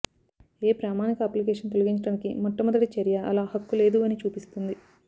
ఏ ప్రామాణిక అప్లికేషన్ తొలగించడానికి మొట్టమొదటి చర్య అలా హక్కు లేదు అని చూపిస్తుంది